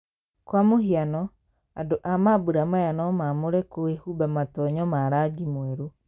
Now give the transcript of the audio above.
Kwa muhiano, andũ a mambũra maya no maamũre kwĩhumba matonyo ma rangi mwerũ.